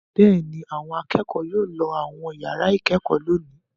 Bẹ́ẹ̀ ni, àwọn akẹ́kọ̀ọ́ yóò lọ àwọn ìyàrá-ìkẹ́kọ̀ọ́ lónìí.